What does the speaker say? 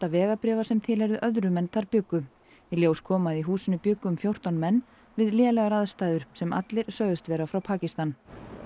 vegabréfa sem tilheyrðu öðrum en þar bjuggu í ljós kom að í húsinu bjuggu um fjórtán menn við lélegar aðstæður sem allir sögðust vera frá Pakistan